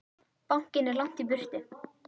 Bankinn er langt í burtu.